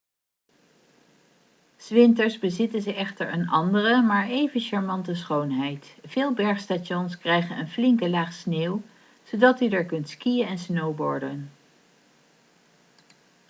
s winters bezitten ze echter een andere maar even charmante schoonheid veel bergstations krijgen een flinke laag sneeuw zodat u er kunt skiën en snowboarden